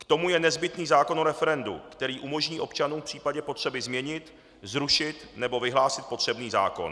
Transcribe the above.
K tomu je nezbytný zákon o referendu, který umožní občanům v případě potřeby změnit, zrušit nebo vyhlásit potřebný zákon.